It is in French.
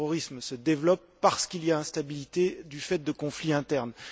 Le terrorisme se développe parce qu'il y a instabilité du fait de conflits internes.